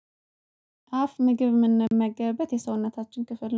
አፍ ምግብ እምንመገበት የሰውነታችን ክፍል